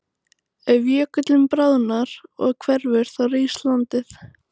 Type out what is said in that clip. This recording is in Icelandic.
Ef jökullinn bráðnar og hverfur þá rís landið.